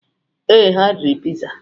Ee, ha riri piza.